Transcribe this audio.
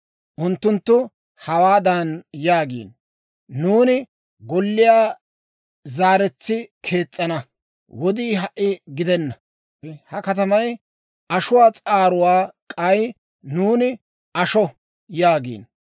Unttunttu hawaadan yaagiino; ‹Nuuni golliyaa zaaretsi kees's'ana wodii ha"a gidena. Ha katamay ashuwaa s'aaruwaa; k'ay nuuni asho› yaagiino.